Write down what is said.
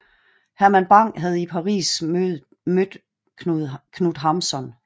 Herman Bang havde i Paris mødt Knut Hamsun